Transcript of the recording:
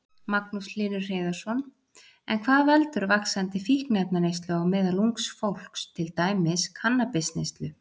Magnús Hlynur Hreiðarsson: En hvað veldur vaxandi fíkniefnaneyslu á meðal ungs fólks, til dæmis kannabisneyslu?